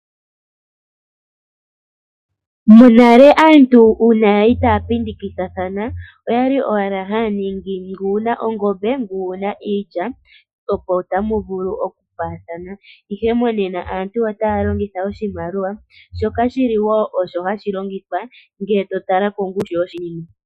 Monale aantu uuna yali taya pindikathana oyali owala haya ningi ngu wuna ongombe ngu wuna iilya opo tamu vulu okupaathana. Ihe monena aantu otaya longitha oshimaliwa shoka shili wo osho hashi longithwa ngele to tala kongushu yoshinima.